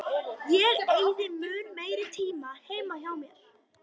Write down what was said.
Ég eyði mun meiri tíma heima hjá mér.